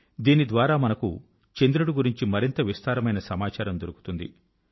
దీని ద్వారా మనకు చంద్రుడి గురించి మరింత విస్తారమైన సమాచారం దొరుకుతుంది